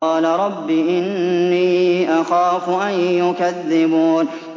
قَالَ رَبِّ إِنِّي أَخَافُ أَن يُكَذِّبُونِ